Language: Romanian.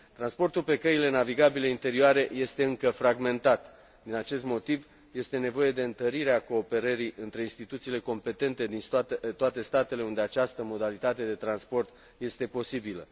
Transportul pe căile navigabile interioare este încă fragmentat din acest motiv este nevoie de întărirea cooperării între instituțiile competente din toate statele unde această modalitate de transport este posibilă.